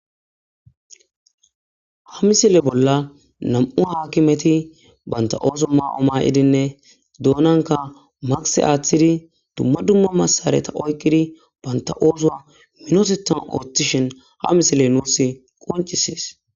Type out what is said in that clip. Ha misile bolla na,mu hakimeti bantha oso mayo mayidinne donanka maske atidi duma duma masareta oyikidi bantha osuwa minotethan othishe ha misile nusi qonccises